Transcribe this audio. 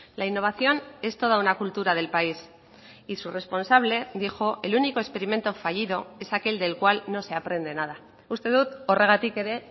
la innovación es toda una cultura del país y su responsable dijo el único experimento fallido es aquel del cual no se aprende nada uste dut horregatik ere